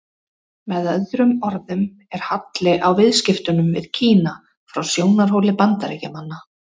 Með öðrum orðum er halli á viðskiptunum við Kína frá sjónarhóli Bandaríkjamanna.